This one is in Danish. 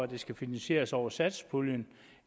det skal finansieres over satspuljen